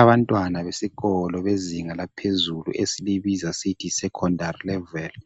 Abantwana besikolo bezinga laphezulu esilibiza sithi yisecondary leveli.